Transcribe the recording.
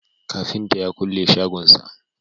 kafinta ya kulle shagon sa